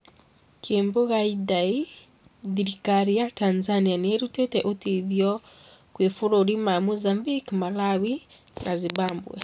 Kimbunga Idai:Thiriikari ya Tanzania nĩrutite ũteithio kwĩ mabũrũri ma Mozambique, Malawi na Zimbabwe